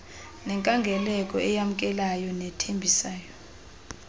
nenkangeleko eyamkelayo nethembisayo